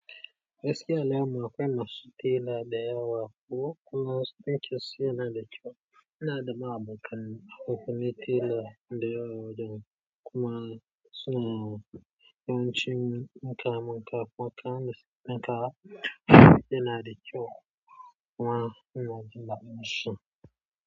Gaskiya a layin mu akwai masu tela da yawa, kuma wasu ɗinkin su yana da kyau. Ina da ma abokanai tale da nai a wajen kuma. Suna yawanci mukan mun kafin kayan da suke ɗinkawa yana da kyau kuma ina jin daɗin shi.